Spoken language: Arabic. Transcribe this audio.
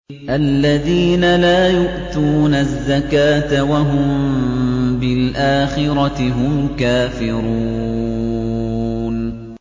الَّذِينَ لَا يُؤْتُونَ الزَّكَاةَ وَهُم بِالْآخِرَةِ هُمْ كَافِرُونَ